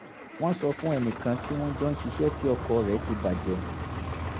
wọ́n sọ fún ẹnì kan tí wọ́n jọ ń ṣiṣẹ́ tí ọkọ̀ rẹ̀ ti bà jẹ́